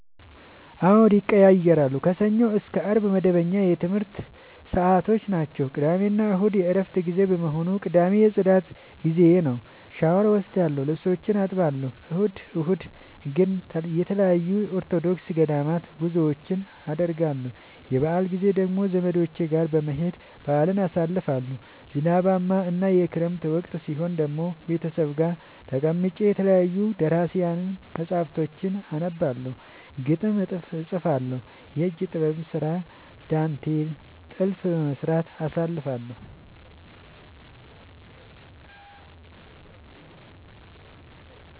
አዎድ ይቀየያራሉ። ከሰኞ እስከ አርብ መደበኛ የትምረት ሰዓቶቼናቸው ቅዳሜና እሁድ የእረፍት ጊዜ በመሆኑ። ቅዳሜ የፅዳት ጊዜዬ ነው። ሻውር እወስዳለሁ ልብሶቼን አጥባለሁ። እሁድ እሁድ ግን ተለያዩ የኦርቶዶክስ ገዳማት ጉዞወችን አደርገለሁ። የበአል ጊዜ ደግሞ ዘመዶቼ ጋር በመሄድ በአልን አሳልፋለሁ። ዝናባማ እና የክረምት ወቅት ሲሆን ደግሞ ቤተሰብ ጋር ተቀምጬ የተለያዩ ደራሲያን መፀሀፍቶችን አነባለሁ፤ ግጥም እጥፋለሁ፤ የእጅ ጥበብ ስራ ዳንቴል ጥልፍ በመስራት አሳልፍለሁ።